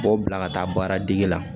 B'o bila ka taa baaradege la